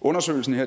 undersøgelsen her